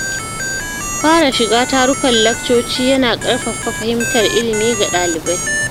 Fara shiga tarukan laccoci ya na ƙarfafa fahimtar ilimi ga ɗalibai.